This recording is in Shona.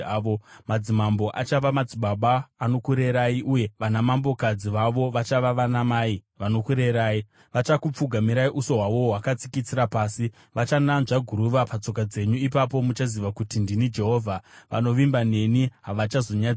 Madzimambo achava madzibaba anokurerai, uye vanamambokadzi vavo vachava vanamai vanokurerai. Vachakupfugamirai uso hwavo hwakatsikitsira pasi, vachananzva guruva patsoka dzenyu. Ipapo muchaziva kuti ndini Jehovha; vanovimba neni havachazonyadziswi.”